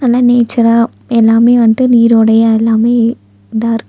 நா நேச்சரா எல்லாமே வன்ட்டு நீரோடையா எல்லாமே இதாருக்--